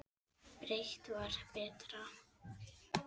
Breitt var betra.